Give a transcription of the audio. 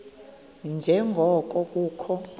nje ngoko kukho